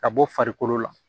Ka bɔ farikolo la